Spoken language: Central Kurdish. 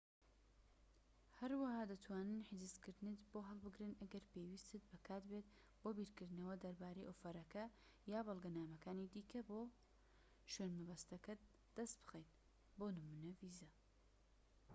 هەروەها دەتوانن حجزکردنت بۆ هەڵبگرن ئەگەر پێویستیت بە کات بێت بۆ بیرکردنەوە دەربارەی ئۆفەرەکە یان بەڵگەنامەکانی دیکە بۆ شوێنمەبەستەکەت دەست بخەیت بۆ نموونە ڤیزە